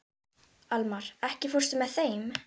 Almar, ekki fórstu með þeim?